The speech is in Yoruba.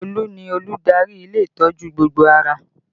Olu ni olùdarí ilé ìtọ́jú gbogbo ara